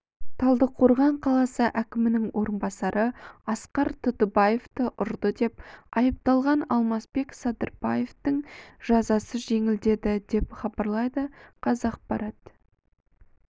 талдықорған қаласы әкімінің орынбасары асқар тұтыбаевты ұрды деп айыпталған алмасбек садырбаевтың жазасы жеңілдеді деп хабарлайды қазақпарат